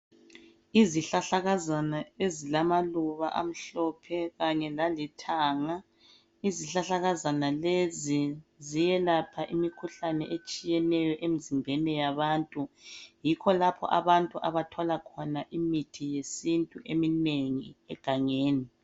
Izihlahlakazana ezilamaluba amhlophe kanye lalithanga. Izihlahlakazana lezi ziyelapha imikhuhlane etshiyeneyo emzimbeni yabantu. Yikho lapho abantu abathola khona imithi yesintu eminengi egangeni.